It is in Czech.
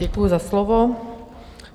Děkuji za slovo.